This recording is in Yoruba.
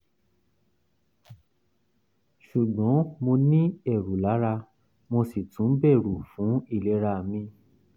ṣùgbọ́n mo ní ẹ̀rù lára mo sì tún bẹ̀rù fún ìlera mi